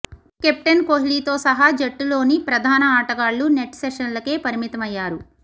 captain కోహ్లీతో సహా జట్టులోని ప్రధాన ఆటగాళ్లు నెట్ సెషన్లకే పరిమితమయ్యారు